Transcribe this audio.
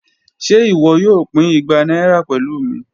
Ṣe iwọ yoo pin igba naira pẹlu mi?